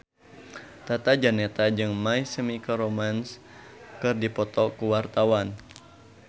Tata Janeta jeung My Chemical Romance keur dipoto ku wartawan